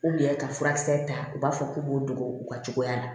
ka furakisɛ ta u b'a fɔ k'u b'o dogo u ka cogoya la